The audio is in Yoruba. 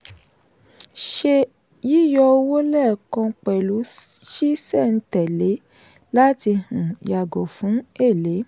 ṣe yíyọ owó lẹ́ẹ̀kan pẹ̀lú ṣísẹ̀-n-tẹ̀lé láti um yàgò fún èlé.